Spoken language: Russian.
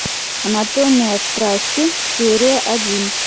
анатомия страсти серия один